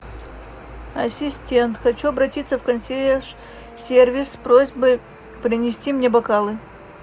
ассистент хочу обратиться в консьерж сервис с просьбой принести мне бокалы